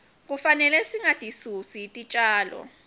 kufanele singatisusi titjalo